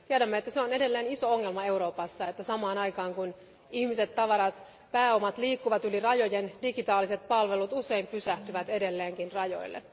Tiedämme, että se on edelleen iso ongelma Euroopassa, että samaan aikaan kun ihmiset, tavarat ja pääomat liikkuvat yli rajojen, digitaaliset palvelut usein pysähtyvät edelleenkin rajoille.